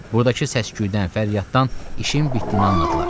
Burdakı səsküydən, fəryaddan işin bitdiyini anladılar.